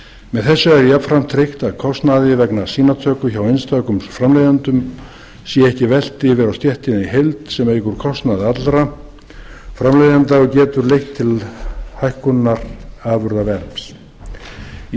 með þessu er jafnframt tryggt að kostnaði vegna sýnatöku hjá einstökum framleiðendum sé ekki velt yfir á stéttina í heild sem eykur kostnað allra framleiðenda og getur leitt til hækkunar afurðaverðs í